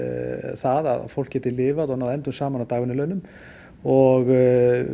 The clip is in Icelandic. það að fólk geti lifað og náð endum saman á dagvinnulaunum og